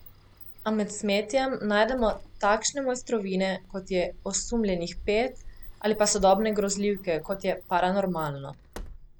A med smetjem najdemo takšne mojstrovine, kot je Osumljenih pet, ali pa sodobne grozljivke, kot je Paranormalno.